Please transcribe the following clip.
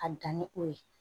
A bɛ danni o ye